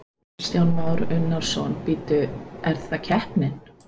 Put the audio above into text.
Kristján Már Unnarsson: Bíddu, er það keppnin?